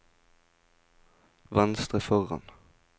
venstre foran